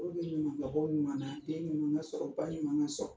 Olu bɛ ɲumanna, den ninnu bɛ sɔrɔ ninnu bɛ sɔrɔ